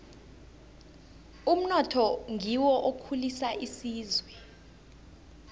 umnotho ngiwo okhulisa isizwe